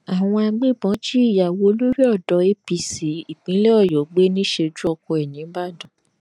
àwọn agbébọn jí ìyàwó olórí odò apc ìpínlẹ ọyọ gbé níṣẹjú oko ẹ nìbàdàn